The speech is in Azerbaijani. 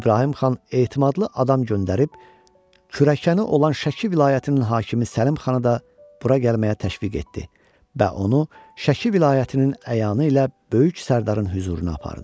İbrahim Xan etimadlı adam göndərib kürəkəni olan Şəki vilayətinin hakimi Səlim Xanı da bura gəlməyə təşviq etdi və onu Şəki vilayətinin əyanı ilə böyük sərdarın hüzuruna apardı.